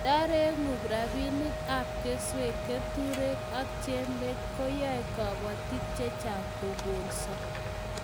Ndaregu rabinik ab keswek keturek ak jembet koyae kabatik chechang kokolso